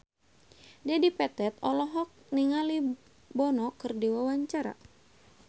Dedi Petet olohok ningali Bono keur diwawancara